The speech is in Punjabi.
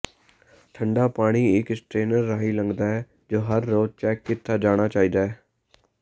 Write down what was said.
ਠੰਢਾ ਪਾਣੀ ਇੱਕ ਸਟਰੇਨਰ ਰਾਹੀਂ ਲੰਘਦਾ ਹੈ ਜੋ ਹਰ ਰੋਜ਼ ਚੈੱਕ ਕੀਤਾ ਜਾਣਾ ਚਾਹੀਦਾ ਹੈ